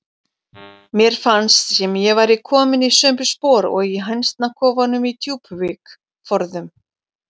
Mér fannst sem ég væri komin í sömu spor og í hænsnakofanum í Djúpuvík forðum.